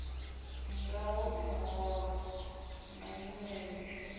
ngaho miholo na nyimelo mishumoni